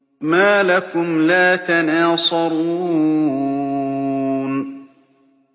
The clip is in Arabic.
مَا لَكُمْ لَا تَنَاصَرُونَ